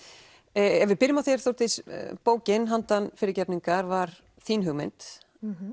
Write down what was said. ef við byrjum á þér Þórdís bókin handan fyrirgefningar var þín hugmynd